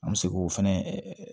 An bɛ se k'o fɛnɛ